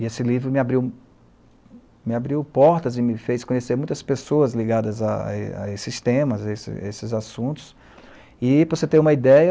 E esse livro me abriu, me abriu portas e me fez conhecer muitas pessoas ligadas a a esses temas, a a esses assuntos, e para você ter uma ideia,